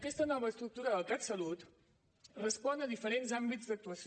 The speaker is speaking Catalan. aquesta nova estructura del catsalut respon a diferents àmbits d’actuació